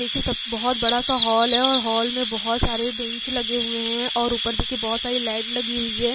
देखिये सब बोहोत बड़ा-सा हॉल हैं और हॉल में बोहोत सारे बेंच लगे हुए हैं और ऊपर देखिए बोहोत सारी लाइट लगी हुई हैं।